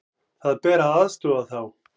Það ber að aðstoða þá.